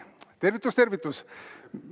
Tervitus, tervitus!